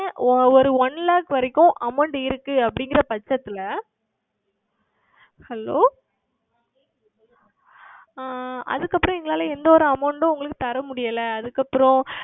ஓர் One Lakh வரைக்கும் Amount இருக்கிறது அப்படி என்கிற சமயத்தில் Hello ஆஹ் அதற்கு அப்புறம் எங்களால் எந்த ஓர் Amount உம் உங்களுக்கு கொடுக்க முடியவில்லை அதற்கு அப்புறம்